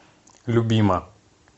любима